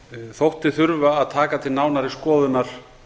þótti þurfa að taka til nánari skoðunar